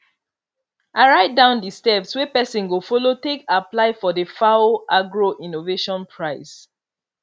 i write down di steps wey pesin go follow take apply for di fao agro innovation prize